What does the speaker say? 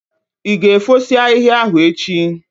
Ị ga efosi ahịhịa ahụ echi?